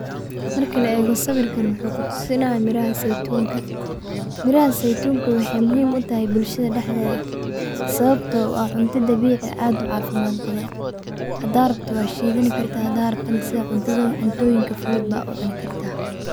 Marki laego sawirka wuxu kutusinaya miraha seytunka, miraha seytunka wexey muhiim utahay bulshada wa cunta dabici oo aad ucafimad badan hda rabto wad shidani hda rabto sida ayad kucuni.